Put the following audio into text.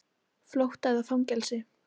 Flótta eða fangelsi.